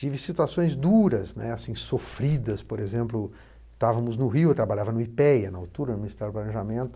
Tive situações duras, né, assim, sofridas, né, por exemplo, estávamos no Rio, eu trabalhava no i pê é á, na altura, no Ministério do planejamento